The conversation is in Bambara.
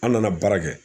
An nana baara kɛ